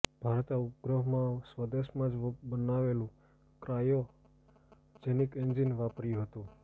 ભારતે ઉપગ્રહમાં સ્વદેશમાં જ બનેલું ક્રાયોજેનિક એન્જિન વાપર્યું હતું